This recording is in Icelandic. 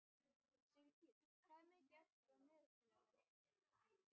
Sigtýr, hvað er mikið eftir af niðurteljaranum?